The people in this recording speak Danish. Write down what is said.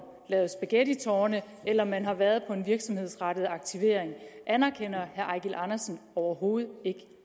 lavet spaghettitårne eller man har været på en virksomhedsrettet aktivering anerkender herre eigil andersen overhovedet ikke